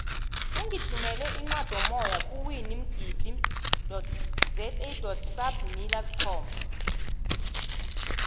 ungithumele incwadomoya ku winimgidizasabmillercom